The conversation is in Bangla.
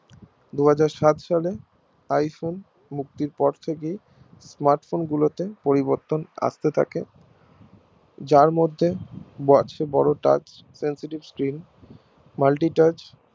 দুই হাজার সাত সালে iPhone মুক্তির পর থেকেই Smartphone গুলো তে পরিবর্তন আসতে থাকে যার মধ্যে বড় Touch sensitive screenmulti touch